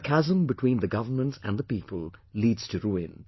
The chasm between the governments and the people leads to ruin